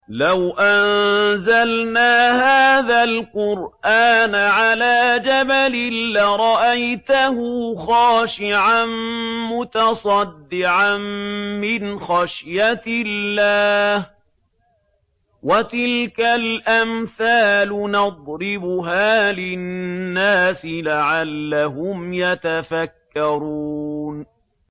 لَوْ أَنزَلْنَا هَٰذَا الْقُرْآنَ عَلَىٰ جَبَلٍ لَّرَأَيْتَهُ خَاشِعًا مُّتَصَدِّعًا مِّنْ خَشْيَةِ اللَّهِ ۚ وَتِلْكَ الْأَمْثَالُ نَضْرِبُهَا لِلنَّاسِ لَعَلَّهُمْ يَتَفَكَّرُونَ